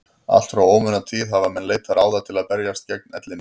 Allt frá ómunatíð hafa menn leitað ráða til að berjast gegn ellinni.